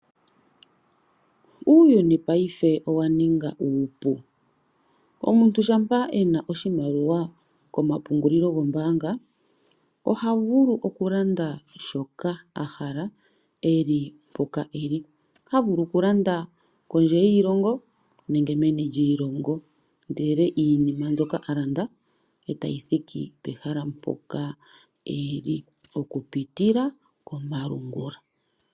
Uuyuni ngashingeyi owa ninga uupu. Omuntu shampa e na oshimaliwa komapungulilo gombaanga oha vulu okulanda shoka a hala e li mpoka e li. Oha vulu okulanda kondje yiilongo nenge meni lyiilongo ndele iinima mbyoka a landa e tayi thiki pehala mpoka e li okupitila komalungula.